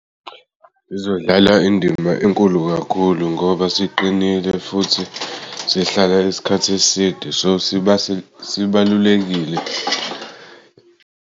Sizodlala indima enkulu kakhulu ngoba siqinile futhi sihlala isikhathi eside sibalulekile.